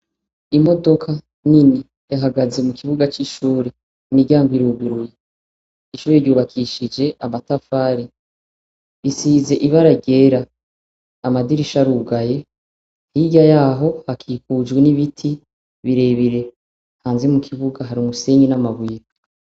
Imodoka nini yahagaze mu kibuga c'ishuri imiryango iruguruye, ishuri ryubakishije amatafari, isize ibara ryera, amadirisha arugaye hirya yaho hakikujwe n'ibiti birebire hanze mu kibuga hari umusenyi n'amabuye.